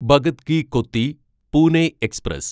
Bhagat Ki Kothi Pune express